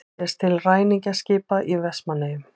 Sést til ræningjaskipa í Vestmannaeyjum.